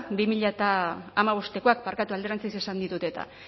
bi mila hamabostekoak barkatu alderantziz esan ditut eta